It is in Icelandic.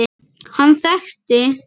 Hann þekkti